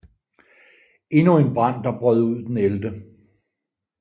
Endnu en brand der brød ud den 11